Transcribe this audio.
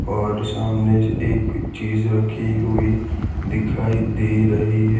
और सामने एक चीज रखीं हुई दिखाई दे रहीं हैं।